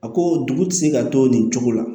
A ko dugu ti se ka to nin cogo la